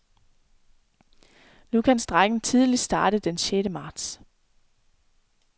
Nu kan strejken tidligst starte den sjette marts.